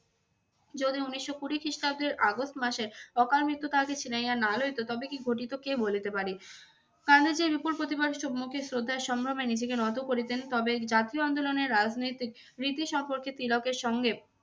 যদি উনিশশো কুড়ি খ্রিস্টাব্দের আগস্ট মাসে অকাল মৃত্যু তাহাকে ছিনাইয়া না লইতো তবে কী ঘটিত কে বলিতে পারে! গান্ধীজীর বিপুল প্রতিভার সম্মুখে শ্রদ্ধা ও সম্ভ্রমে নিজেকে নত করিতেন তবে জাতীয় আন্দোলনে রাজনৈতিক রীতি সম্পর্কে তিলকের সঙ্গে